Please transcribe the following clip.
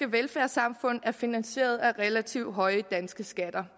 velfærdssamfund er finansieret af relativt høje danske skatter